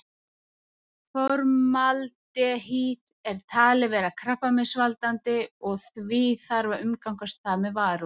Formaldehýð er talið vera krabbameinsvaldandi og því þarf að umgangast það með varúð.